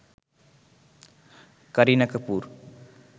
Kareena Kapoor